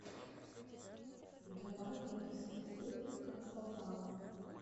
давай я посмотрю как попало